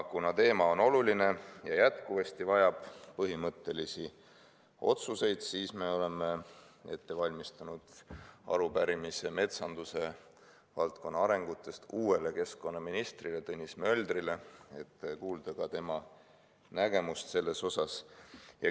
Kuna teema on oluline ja jätkuvalt vajab põhimõttelisi otsuseid, siis me oleme ette valmistanud arupärimise metsanduse valdkonna arengute kohta uuele keskkonnaministrile Tõnis Möldrile, et kuulda ka tema nägemust selles asjas.